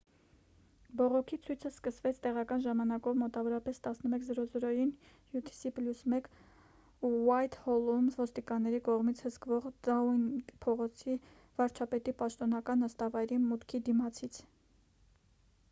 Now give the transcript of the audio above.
բողոքի ցույցը սկսվեց տեղական ժամանակով մոտավորապես 11։00-ին utc+1 ուայթհոլում՝ ոստիկանների կողմից հսկվող դաունինգ փողոցի՝ վարչապետի պաշտոնական նստավայրի մուտքի դիմացից: